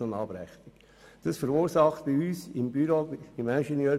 Am Ende gibt es dann eine Abrechnung.